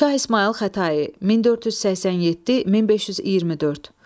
Şah İsmayıl Xətai (1487-1524).